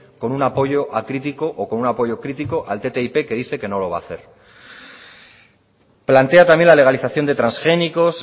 con un apoyo acrítico o con un apoyo crítico al ttip que dice que no lo va a hacer plantea también la legalización de transgénicos